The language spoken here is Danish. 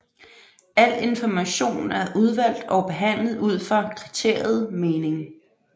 Al information er udvalgt og behandlet ud fra kriteriet mening